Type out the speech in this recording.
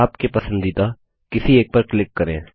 आपके पसंदीदा किसी एक पर क्लिक करें